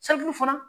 fana